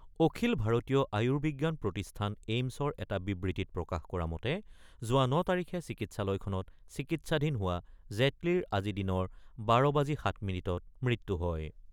অখিল ভাৰতীয় আয়ুৰ্বিজ্ঞান প্ৰতিষ্ঠান এইমছৰ এটা বিবৃতিত প্ৰকাশ কৰা মতে, যোৱা ৯ তাৰিখে চিকিৎসালয়খনত চিকিৎসাধীন হোৱা জেটলীৰ আজি দিনৰ ১২ বাজি ৭ মিনিটত মৃত্যু হয়।